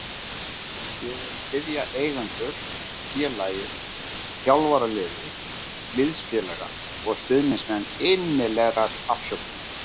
Ég vil biðja eigendur, félagið, þjálfaraliðið, liðsfélaga og stuðningsmenn innilegrar afsökunar.